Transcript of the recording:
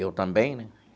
Eu também, né?